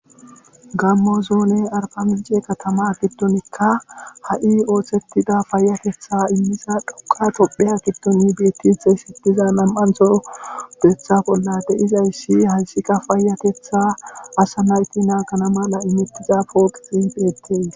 Gammo zoone arpamije katama giddonikka ha'i ooththettida fayatetha immiza dhoqa topheya giddoni bettinte shitiza nam'antho betha bolla de izayssi haysika paayatetha asa nayti naagana mala imettiza pooqixin beettes.